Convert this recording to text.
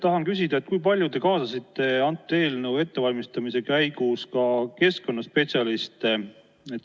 Tahan küsida, kui palju te kaasasite antud eelnõu ettevalmistamise käigus ka keskkonnaspetsialiste.